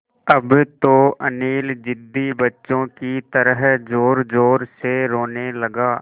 अब तो अनिल ज़िद्दी बच्चों की तरह ज़ोरज़ोर से रोने लगा